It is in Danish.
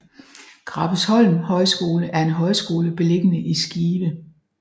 Krabbesholm Højskole er en højskole beliggende i Skive